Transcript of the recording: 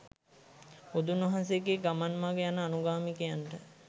බුදුන් වහන්සේගේ ගමන් මඟ යන අනුගාමිකයන්ට